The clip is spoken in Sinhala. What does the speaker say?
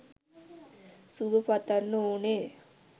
සුබ පතන්න ඕනේ.